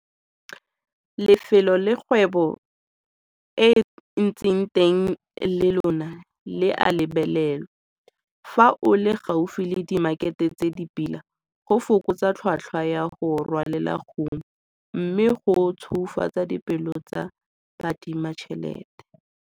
Lefelo le kgwebo e ntseng teng le lona le a lebelelwa fa o le gaufi le dimakhete tse di pila go fokotsa tlhotlhwa ya go rwalela kumo mme go tshweufatsa dipelo tsa baadimatšhelete.